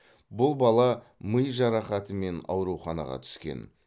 бұл бала ми жарақатымен ауруханаға түскен